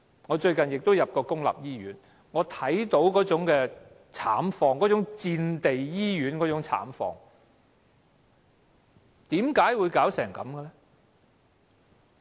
我最近也曾進入公立醫院，看到那種慘況，那種類似戰地醫院的慘況。